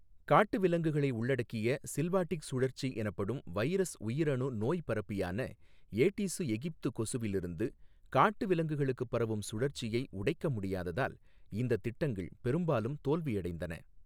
காட்டு விலங்குகளை உள்ளடக்கிய சில்வாடிக் சுழற்சி எனப்படும் வைரஸ் உயிரணு நோய்ப்பரப்பியான ஏடீசு எகிப்தி கொசுவிலிருந்து காட்டு விலங்குகளுக்கு பரவும் சுழற்சியை, உடைக்க முடியாததால் இந்த திட்டங்கள் பெரும்பாலும் தோல்வியடைந்தன.